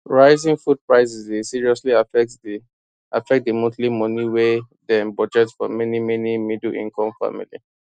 rising food prices dey seriously affect di affect di monthly money wy dem budget for many many middleincome family